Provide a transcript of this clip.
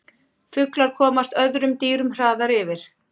Fuglar komast öðrum dýrum hraðar yfir.